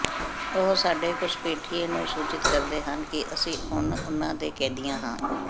ਉਹ ਸਾਡੇ ਘੁਸਪੈਠੀਏ ਨੂੰ ਸੂਚਿਤ ਕਰਦੇ ਹਨ ਕਿ ਅਸੀਂ ਹੁਣ ਉਨ੍ਹਾਂ ਦੇ ਕੈਦੀਆਂ ਹਾਂ